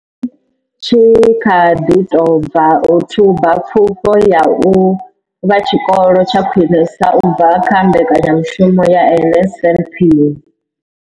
Tshi kha ḓi tou bva u thuba Pfufho ya u vha Tshikolo tsha Khwinesa u bva kha mbekanyamushumo ya NSNP.